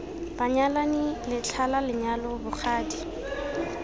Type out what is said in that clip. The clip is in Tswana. banyalani letlha la lenyalo bogadi